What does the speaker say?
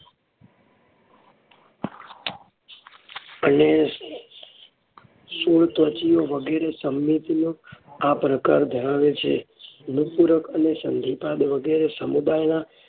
અને શૂળત્વચિઓ વગેરે સમિતિઓના આ પ્રકાર ધરાવે છે. નુપુરક અને સંધિપાદ વગેરે સમુદાયના